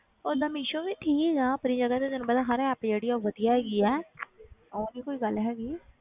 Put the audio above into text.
ਓਦਾਂ ਮੀਸ਼ੋ ਵੀ ਠੀਕ ਹੈ ਪਰ ਜ਼ਿਆਦਾ ਤੇ ਤੈਨੂੰ ਹਰ app ਜਿਹੜੀ ਆ ਉਹ ਵਧੀਆ ਹੈਗੀ ਹੈ ਉਹ ਨੀ ਕੋਈ ਗੱਲ ਹੈਗੀ